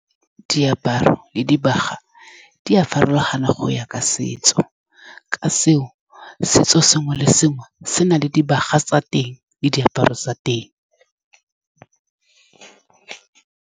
Diaparo le dibaga di a farologana go ya ka setso, ka seo setso sengwe le sengwe se na le dibaga tsa teng le diaparo tsa teng.